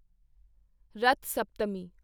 Rath Saptami